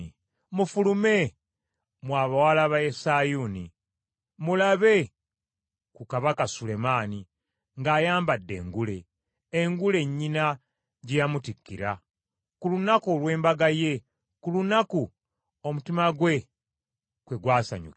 Mufulume, mmwe abawala ba Sayuuni, mulabe ku Kabaka Sulemaani ng’ayambadde engule, engule nnyina gye yamutikkira ku lunaku olw’embaga ye, ku lunaku omutima gwe kwe gwasanyukira.